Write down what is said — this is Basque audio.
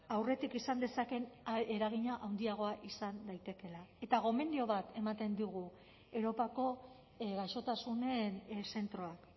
aurretik izan dezakeen eragina handiagoa izan daitekeela eta gomendio bat ematen digu europako gaixotasunen zentroak